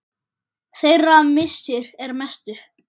Þeirra missir er mestur.